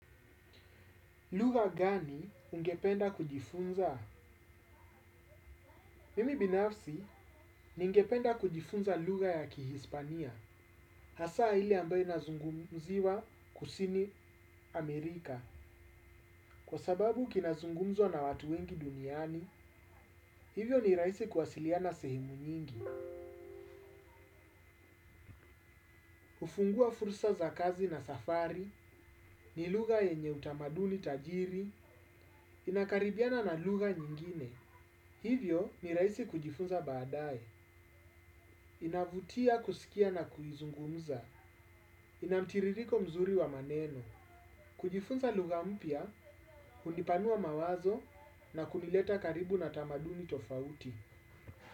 Lugha gani ungependa kujifunza? Mimi binafsi, ningependa kujifunza lugha ya kihispania. Hasa ile ambayo inazungumziwa kusini Amerika. Kwa sababu kinazungumzwa na watu wengi duniani, hivyo ni rahisi kuwasiliana sehemu nyingi. Ufungua fursa za kazi na safari, ni lughay enye utamaduli tajiri, inakaribiana na lugha nyingine. Hivyo ni rahisi kujifunza baadae, inavutia kusikia na kuizungumza, inamtiririko mzuri wa maneno, kujifunza lugha mpya, hunipanua mawazo na kunileta karibu na tamaduni tofauti.